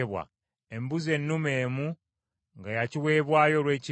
embuzi ennume emu nga ya kiweebwayo olw’ekibi;